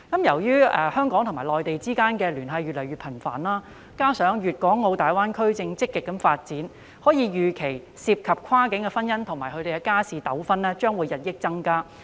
由於香港與內地之間的聯繫越來越頻繁，加上粵港澳大灣區正積極發展，可以預期跨境婚姻及相關的家事糾紛將會日益增加。